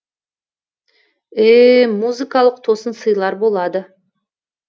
ээ музыкалық тосын сыйлар болады